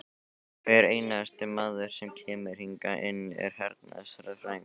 Hver einasti maður sem kemur hingað inn er hernaðarsérfræðingur!